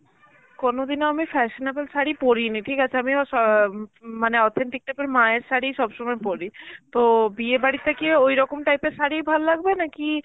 কোনদিনও আমি fashionable শাড়ি পরিনি, ঠিক আছে আমিও অ্যাঁ মানে authentic type এর মায়ের শাড়ি সব সময় পরি. তো বিয়ে বাড়িতে কি ঐরকম type এর শাড়িই ভালো লাগবে নাকি